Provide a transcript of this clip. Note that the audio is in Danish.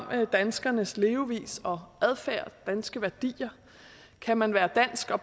danskernes levevis og adfærd danske værdier kan man være dansk og